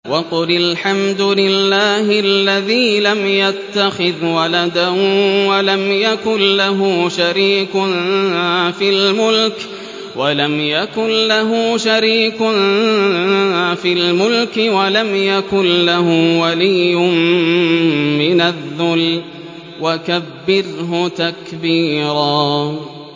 وَقُلِ الْحَمْدُ لِلَّهِ الَّذِي لَمْ يَتَّخِذْ وَلَدًا وَلَمْ يَكُن لَّهُ شَرِيكٌ فِي الْمُلْكِ وَلَمْ يَكُن لَّهُ وَلِيٌّ مِّنَ الذُّلِّ ۖ وَكَبِّرْهُ تَكْبِيرًا